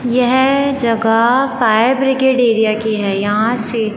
यह जगह fire brigade area की है यहां से--